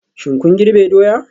Shin kun girbe doya?